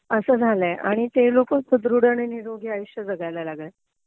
असं झालय आणि ते लोक सुदृढ आणि निरोगी आयुष्य जगायला लागलेत